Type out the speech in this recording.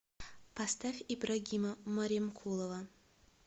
поставь ибрагима маремкулова